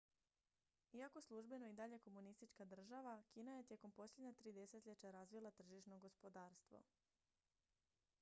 iako službeno i dalje komunistička država kina je tijekom posljednja tri desetljeća razvila tržišno gospodarstvo